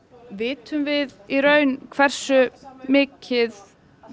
vitum við í raun hversu mikið